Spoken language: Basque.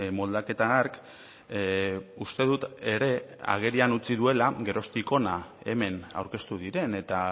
moldaketa hark uste dut ere agerian utzi duela geroztik hona hemen aurkeztu diren eta